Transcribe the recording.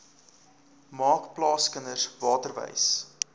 maak plaaskinders waterwys